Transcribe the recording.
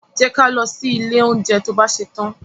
Jẹ́ ka lọ sí ilé oúnjẹ to bá ṣetán.